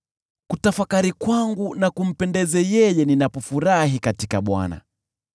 Kutafakari kwangu na kumpendeze yeye, ninapofurahi katika Bwana .